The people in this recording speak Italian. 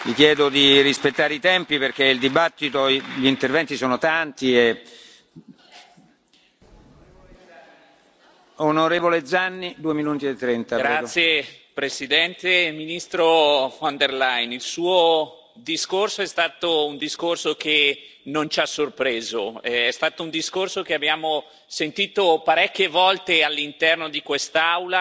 Signor Presidente, onorevoli colleghi, ministro von der Leyen, il Suo discorso è stato un discorso che non ci ha sorpreso. È stato un discorso che abbiamo sentito parecchie volte all'interno di quest'Aula, pieno di promesse che anche Lei sa che non potrà